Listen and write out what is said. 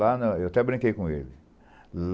Lá na... Eu até brinquei com ele.